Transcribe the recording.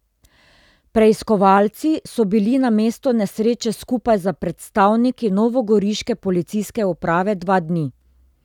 Preiskovalci so bili na mestu nesreče skupaj s predstavniki novogoriške policijske uprave dva dni.